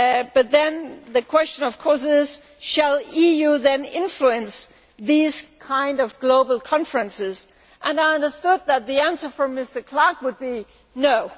But then the question of course is whether the EU should then influence these kinds of global conferences, and I understood that the answer from Mr Clark would be no.